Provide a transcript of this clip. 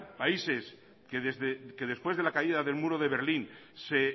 países que después de la caída del muro de berlín se